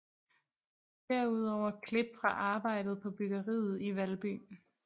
Derudover klip fra arbejdet på bryggeriet i Valby